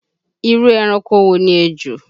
Irú ẹranko wo ni ejò?